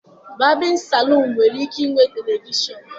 Babịn saluunu nwere ike inwe televishọnụ..